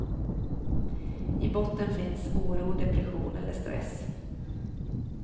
I botten finns oro, depression eller stress.